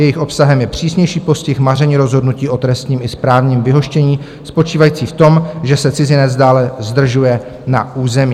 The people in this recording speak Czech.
Jejich obsahem je přísnější postih maření rozhodnutí o trestním i správním vyhoštění spočívající v tom, že se cizinec dále zdržuje na území.